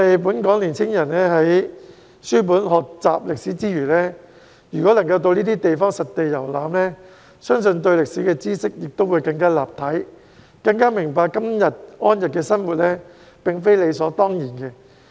本港年輕人在書本學習歷史之餘，如果能夠到這些地方實地遊覽，相信對歷史的知識會更立體，更加明白今天安逸的生活並非理所當然。